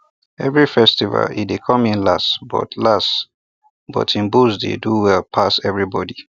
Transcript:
every festival e dey come in last but last but him bulls dey do well pass everybody